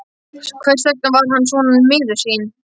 Hvers vegna var hann svona miður sín?